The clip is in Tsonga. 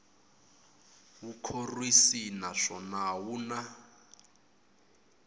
wu khorwisi naswona wu na